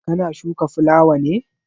Ka na shuka fulawa ne?